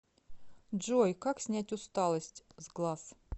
джой как снять усталость с глаз